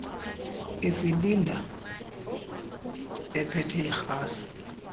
isilinda ephethe irhasi